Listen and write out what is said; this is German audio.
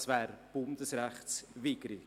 Das wäre bundesrechtswidrig.